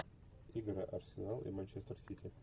игра арсенал и манчестер сити